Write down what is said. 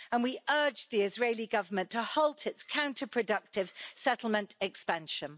We urge the Israeli Government to halt its counter productive settlement expansion.